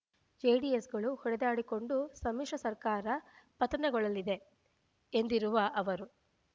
ಜೆಡಿಎಸ್‌ಗಳು ಹೊಡೆದಾಡಿಕೊಂಡು ಸಮ್ಮಿಶ್ರ ಸರ್ಕಾರ ಪತನಗೊಳ್ಳಲಿದೆ ಎಂದಿರುವ ಅವರು